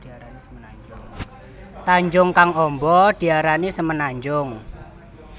Tanjung kang amba diarani semenanjung